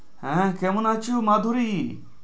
হ্যাঁ কেমন আছো মাধুরী?